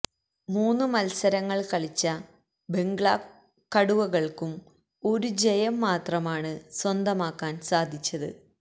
മൂന്ന് മത്സരങ്ങൾ കളിച്ച ബംഗ്ലാ കടുവകൾക്കും ഒരു ജയം മാത്രമാണ് സ്വന്തമാക്കാൻ സാധിച്ചത്